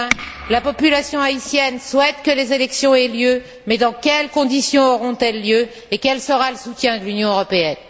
Enfin, la population haïtienne souhaite que les élections aient lieu, mais dans quelles conditions auront elles lieu et quel sera le soutien de l'Union européenne?